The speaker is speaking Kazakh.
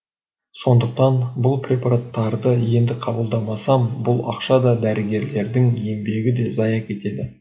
сондықтан бұл препараттарды енді қабылдамасам бұл ақша да дәрігерлердің еңбегі де зая кетеді